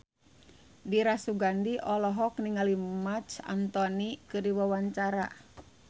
Dira Sugandi olohok ningali Marc Anthony keur diwawancara